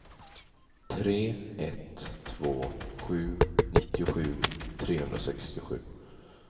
tre ett två sju nittiosju trehundrasextiosju